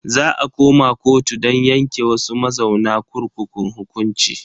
Za a koma kotu don yanke wasu mazauna kurkukun hukunci.